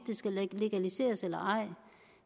det skal legaliseres eller ej